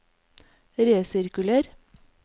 resirkuler